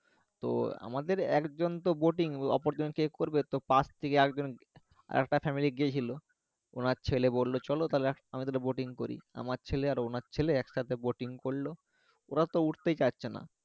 তো আমাদের একজন তো অপরজন কে করবে তো পাশ থেকে একজন আর একটা গেছিলো ওনার ছেলে বললো চলো তহলে আমরা করি আমার ছেলে আর ওনার ছেলে একসাথে করলো ওরা তো উঠতেই চাচ্ছে না